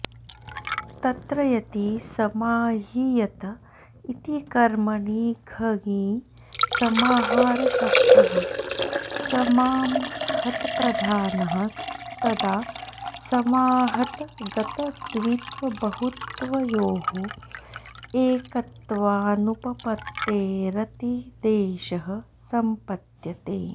तत्र यदि समाह्यियत इति कर्मणि घञि समाहारशब्दः समाह्मतप्रधानः तदा समाह्मतगतद्वित्वबहुत्वयोः एकत्वानुपपत्तेरतिदेशः सम्पद्यते